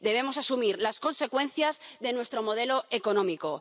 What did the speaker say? Debemos asumir las consecuencias de nuestro modelo económico.